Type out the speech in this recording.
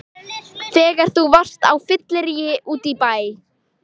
Þegar þú varst á fylliríi úti í bæ!